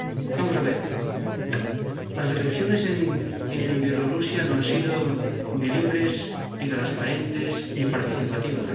Vamos a ver las elecciones en Bielorrusia no han sido ni libres ni transparentes ni participativas.